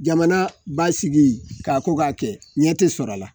Jamana b'a sigi k'a ko k'a kɛ ɲɛ te sɔrɔ a la